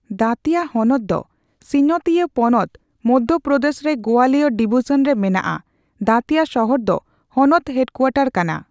ᱫᱟᱛᱤᱭᱟ ᱦᱚᱱᱚᱛ ᱫᱚ ᱥᱤᱧᱚᱛᱤᱭᱟᱹ ᱯᱚᱱᱚᱛ ᱢᱚᱫᱷᱭᱚ ᱯᱨᱚᱫᱮᱥ ᱨᱮ ᱜᱣᱟᱞᱤᱭᱚᱨ ᱰᱤᱵᱤᱡᱚᱱ ᱨᱮ ᱢᱮᱱᱟᱜᱼᱟ ᱾ ᱫᱟᱛᱤᱭᱟ ᱥᱚᱦᱚᱨ ᱫᱚ ᱦᱚᱱᱚᱛ ᱦᱮᱰᱠᱩᱣᱟᱴᱚᱨ ᱠᱟᱱᱟ ᱾